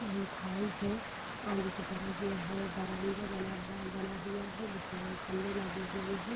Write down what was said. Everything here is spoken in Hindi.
यह एक हाउस है आगे की तरफ ये है ब्रमांडा बन बना हुआ है जिसमें खम्भे लगे हुए हैं।